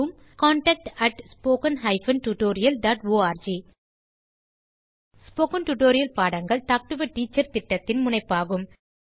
contact at spoken hyphen tutorial dot org spoken tutorial பாடங்கள் talk to a teacher திட்டத்தின் முனைப்பாகும்